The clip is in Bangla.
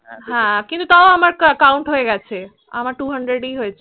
হ্য়াঁ কিন্তু তাও আমার কাউন্ট হয়ে গেছে আমার Twohundred ই হয়েছে